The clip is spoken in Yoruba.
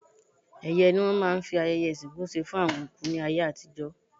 Ẹ̀yẹ́ ni wọ́n máa ń fi ayẹyẹ ìsìnkú ṣe fún àwọn òkú ní ayé àtijọ́.